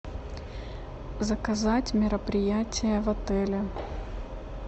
заказать мероприятие в отеле